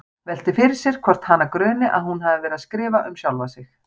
Veltir fyrir sér hvort hana gruni að hún hafi verið að skrifa um sjálfa sig.